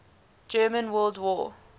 german world war